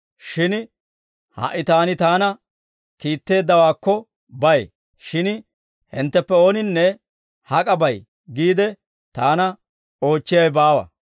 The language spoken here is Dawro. Shin ha"i Taani Taana kiitteeddawaakko bay; shin hintteppe ooninne, ‹Hak'a bay?› giide Taana oochchiyaawe baawa.